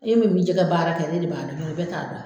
E min bɛ jɛgɛ baara kɛ ne de b'a dɔn bɛɛ t'a dɔn.